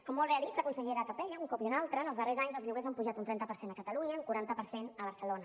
com molt bé ha dit la consellera capella un cop i un altre els darrers anys els lloguers han pujat un trenta per cent a catalunya un quaranta per cent a barcelona